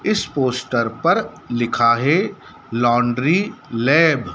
इस पोस्टर पर लिखा है लॉन्ड्री लैब ।